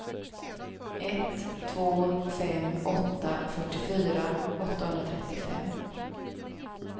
ett två fem åtta fyrtiofyra åttahundratrettiofem